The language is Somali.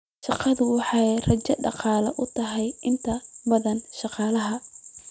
Shaqadu waxay rajo dhaqaale u tahay inta badan shaqaalaha.